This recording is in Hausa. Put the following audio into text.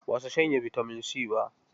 Ba su shanye bitamin C ba.